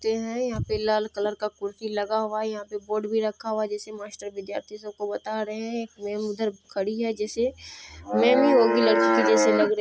ते हैं यहाँ पर लाल कलर का कुर्सी लगा हुआ है यहाँ पे बोर्ड भी रखा हुआ है जैसे मास्टर विधियार्थि सब को बता रहे हैं एक मैम उधर खड़ी है जैसे मैम ही होगी लड़की की जैसे लग रही है।